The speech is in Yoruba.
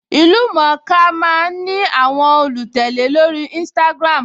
Ìlú-mọ̀-ọ́n-ka máa ń ní àwọn olùtẹ̀lé lórí Instagram